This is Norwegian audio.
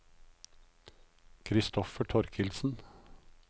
Kristoffer Thorkildsen